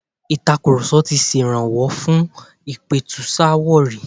Ìtakurọ̀sọ ti ṣèrànwọ́ fún ìpẹ̀tùsááwọ̀ rí.